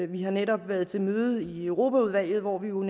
vi har netop været til møde i europaudvalget hvor vi jo